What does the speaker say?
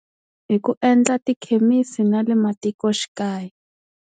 Hi ku endla tikhemisi nale matikoxikaya.